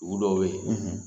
Dugu dɔw be ye